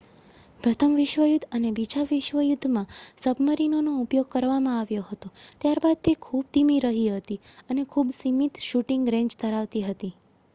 પ્રથમ વિશ્વયુદ્ધ અને બીજા વિશ્વ યુધ્ધમાં સબમરીનોનો ઉપયોગ કરવામાં આવ્યો હતો ત્યારબાદ તે ખૂબ ધીમી રહી હતી અને ખૂબ સીમિત શુટિંગ રેંજ ધરાવતી હતી